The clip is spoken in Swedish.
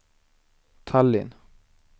Tallinn